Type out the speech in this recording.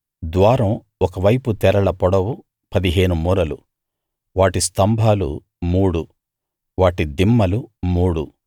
ద్వారం ఒక వైపు తెరల పొడవు పదిహేను మూరలు వాటి స్తంభాలు మూడు వాటి దిమ్మలు మూడు